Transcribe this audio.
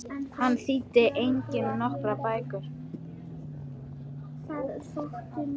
Hann þýddi einnig nokkrar bækur.